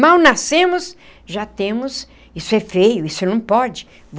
Mal nascemos, já temos... Isso é feio, isso não pode.